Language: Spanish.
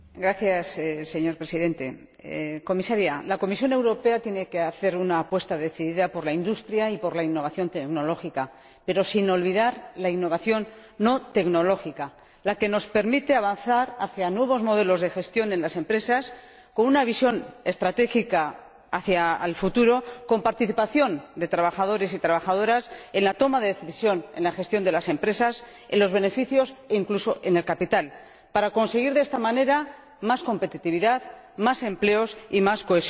Señor Presidente, señora Comisaria, la Comisión Europea tiene que hacer una apuesta decidida por la industria y por la innovación tecnológica, pero sin olvidar la innovación no tecnológica, la que nos permite avanzar hacia nuevos modelos de gestión en las empresas con una visión estratégica hacia el futuro, con la participación de trabajadores y trabajadoras en la toma de decisiones en la gestión de las empresas, en los beneficios e incluso en el capital, para conseguir de esta manera más competitividad, más empleos y más cohesión social.